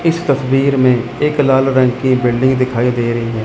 इस तस्वीर में एक लाल रंग की बिल्डिंग दिखाई दे रही है।